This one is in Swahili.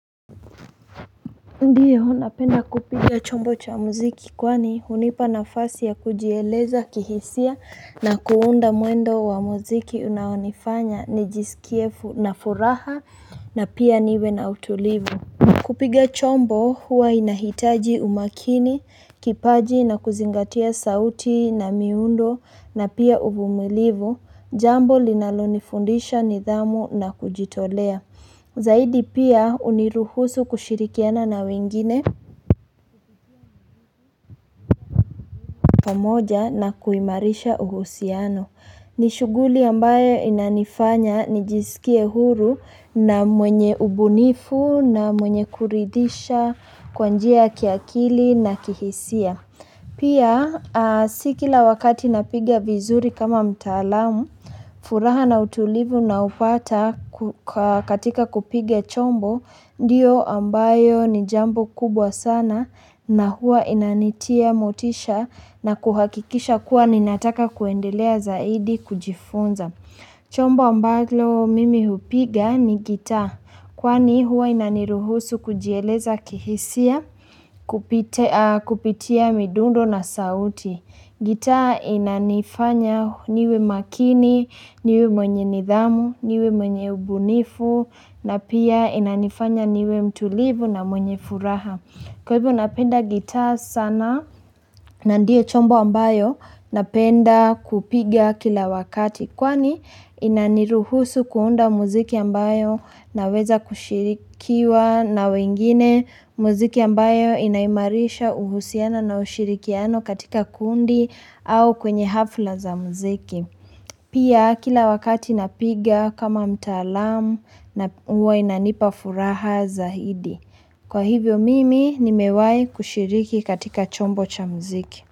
Ndiyo, napenda kupiga chombo cha muziki kwani unipa na fasi ya kujieleza, kihisia na kuunda muendo wa muziki unaonifanya, ni jisikie na furaha na pia niwe na utulivu. Kupiga chombo huwa inahitaji umakini, kipaji na kuzingatia sauti na miundo na pia uvumilivu, jambo linalonifundisha nidhamu na kujitolea. Zaidi pia uniruhusu kushirikiana na wingine pamoja na kuimarisha uhusiano. Nishuguli ambayo inanifanya nijisikie huru na mwenye ubunifu na mwenye kuridhisha kwanjia kiakili na kihisia. Pia sikila wakati napigia vizuri kama mtaalamu furaha na utulivu na upata katika kupige chombo diyo ambayo ni jambo kubwa sana na hua inanitia motisha na kuhakikisha kuwa ninataka kuendelea zaidi kujifunza. Chombo ambalo mimi hupiga ni gita, kwani huwa inaniruhusu kujieleza kihisia kupitia midundo na sauti. Gitaa inanifanya niwe makini, niwe mwenye nidhamu, niwe mwenye ubunifu, na pia inanifanya niwe mtulivu na mwenye furaha. Kwa hivyo napenda gita sana na ndio chombo ambayo napenda kupiga kila wakati kwani inaniruhusu kuunda muziki ambayo na weza kushirikiwa na wengine muziki ambayo inaimarisha uhusiana na ushirikiano katika kundi au kwenye hafla za muziki. Pia kila wakati napiga kama mtaalamu na uwa inanipa furaha zaidi. Kwa hivyo mimi nimewai kushiriki katika chombo cha mziki.